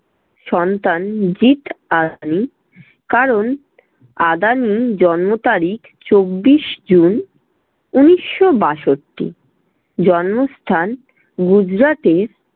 সন্তান জিৎ আদানি, কারণ আদানি জন্মতারিখ চব্বিশ জুন উনিশশো বাষট্টি। জন্মস্থান- গুজরাটের